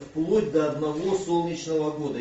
вплоть до одного солнечного года